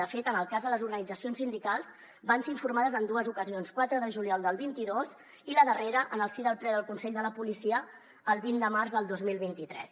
de fet en el cas de les organitzacions sindicals van ser informades en dues ocasions el quatre de juliol del vint dos i la darrera en el si del ple del consell de la policia el vint de març del dos mil vint tres